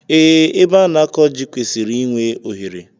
Ee, ebe a na akọ ji kwesịrị I nwe ohere